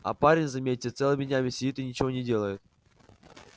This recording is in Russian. а парень заметьте целыми днями сидит и ничего не делает